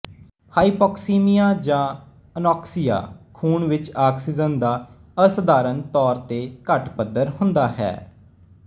hypoxaemia ਜਾਂ anoxia ਖੂਨ ਵਿੱਚ ਆਕਸੀਜਨ ਦਾ ਅਸਧਾਰਨ ਤੌਰ ਤੇ ਘੱਟ ਪੱਧਰ ਹੁੰਦਾ ਹੈ